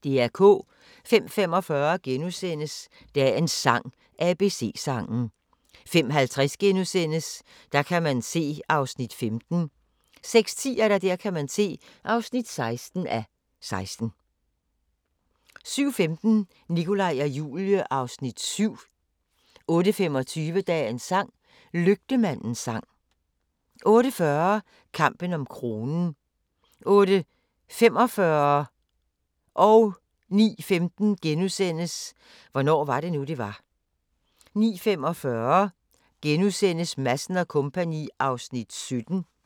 05:45: Dagens sang: ABC-sangen * 05:50: Der kan man se (15:16)* 06:10: Der kan man se (16:16) 06:30: Nikolaj og Julie (Afs. 6)* 07:15: Nikolaj og Julie (Afs. 7) 08:25: Dagens sang: Lygtemandens sang 08:40: Kampen om kronen 08:45: Hvornår var det nu, det var? * 09:15: Hvornår var det nu det var * 09:45: Madsen & Co. (17:32)*